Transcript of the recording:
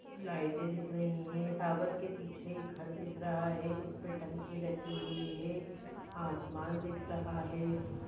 लाइटें दिख रही है टावर के पीछे एक घर दिख रहा है उसपे टंकी रखी हुई है आसमान दिख रहा है।